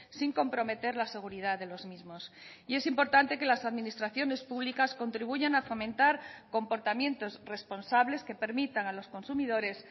sin comprometer la seguridad de los mismos y es importante que las administraciones públicas contribuyan a fomentar comportamientos responsables que permitan a los consumidores